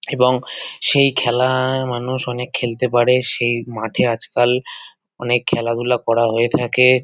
এবং সেই খেলা-আ মানুষ অনেক খেলতে পারে সেই মাঠে আজকাল অনেক খেলাধুলা করা হয়ে থাকে-এ।